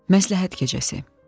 Məsləhət gecəsi.